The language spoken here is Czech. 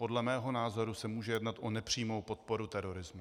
Podle mého názoru se může jednat o nepřímou podporu terorismu.